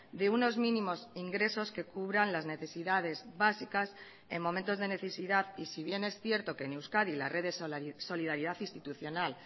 de unos mínimos ingresos que cubran las necesidades básicas en momentos de necesidad y si bien es cierto que en euskadi la red de solidaridad institucional